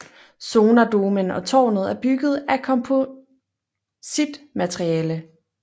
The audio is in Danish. Sonardomen og tårnet er bygget af kompositmateriale